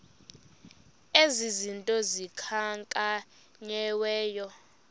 ezi zinto zikhankanyiweyo